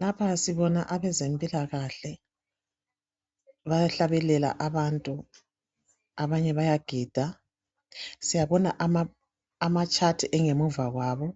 Lapha sibona abezempilakahle bayahlabelela abantu, abanye bayagida. Siyabona ama chart engemuva kwabo